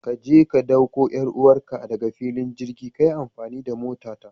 Kaje ka dauko 'yar uwarka daga filin jirgi, kayi amfani da motata.